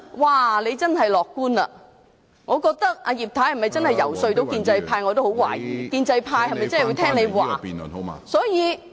她真是樂觀，對於葉太能否遊說建制派，我也感到十分懷疑，建制派會否聽她的說話......